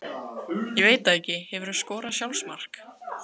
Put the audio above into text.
Ég veit það ekki Hefurðu skorað sjálfsmark?